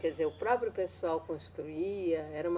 Quer dizer, o próprio pessoal construía? Era uma